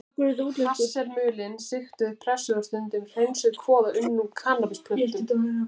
Hass er mulin, sigtuð, pressuð og stundum hreinsuð kvoða unnin úr kannabisplöntum.